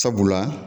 Sabula